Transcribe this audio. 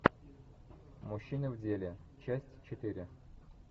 мужчины в деле часть четыре